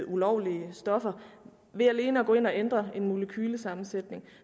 ulovlige stoffer ved alene at gå ind og ændre en molekylesammensætning